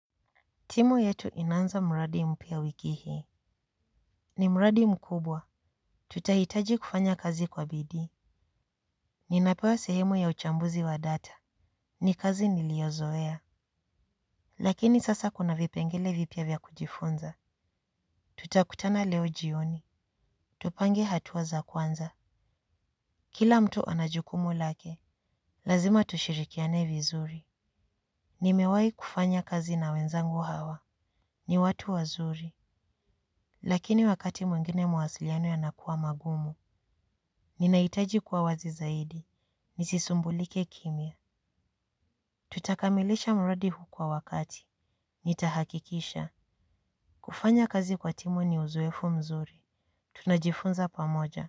Timu yetu inanza mradi mpya wiki hii. Ni mradi mkubwa. Tutahitaji kufanya kazi kwa bidii. Ninapewa sehemu ya uchambuzi wa data. Ni kazi niliozoea. Lakini sasa kuna vipengele vipya vya kujifunza. Tutakutana leo jioni. Tupange hatua za kwanza. Kila mtu anajukumu lake. Lazima tushirikiane vizuri. Nimewai kufanya kazi na wenzangu hawa. Ni watu wazuri. Lakini wakati mwengine mawasiliano yanakua magumu. Nina hitaji kuwa wazi zaidi. Nisisumbulike kimia. Tutakamilisha mradi huu kwa wakati. Nitahakikisha. Kufanya kazi kwa timu ni uzoefu mzuri. Tunajifunza pamoja.